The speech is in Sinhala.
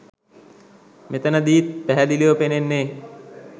මෙතනදීත් පැහැදිලිව පෙනෙන්නේ